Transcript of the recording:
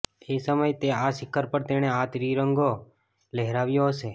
એ સમયે તે આ શિખર પર તેણે આ ત્રિરંગો લહેરાવ્યો હશે